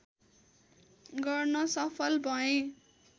गर्न सफल भए